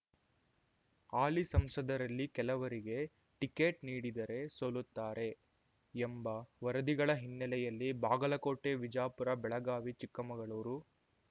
ಹಾಲಿ ಸಂಸದರಲ್ಲಿ ಕೆಲವರಿಗೆ ಟಿಕೆಟ್ ನೀಡಿದರೆ ಸೋಲುತ್ತಾರೆ ಎಂಬ ವರದಿಗಳ ಹಿನ್ನೆಲೆಯಲ್ಲಿ ಬಾಗಲಕೋಟೆ ವಿಜಾಪುರ ಬೆಳಗಾವಿ ಚಿಕ್ಕಮಗಳೂರು